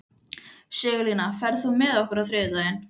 Sigurlína, ferð þú með okkur á þriðjudaginn?